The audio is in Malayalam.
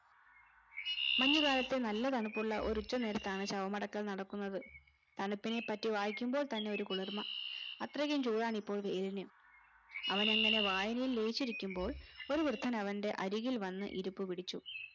മഞ്ഞുകാലത്തെ നല്ല തണുപ്പുള്ള ഒരു ഉച്ച നേരത്താണ് ശവമടക്കൽ നടക്കുന്നത് തണുപ്പിനെ പറ്റി വായിക്കുമ്പോൾ തന്നെ ഒരു കുളിർമ്മ അത്രയ്ക്കും ചൂടാണിപ്പോൾ വെയിലിന് അവനങ്ങനെ വായനയിൽ ലയിച്ചിരിക്കുമ്പോൾ ഒരു വൃദ്ധൻ അവന്റെ അരികിൽ വന്ന് ഇരിപ്പ്പിടിച്ചു